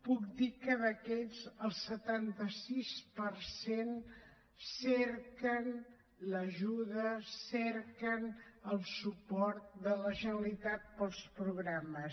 puc dir que d’aquests el setanta sis per cent cerquen l’ajuda cerquen el suport de la generalitat pels programes